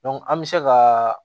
an bɛ se ka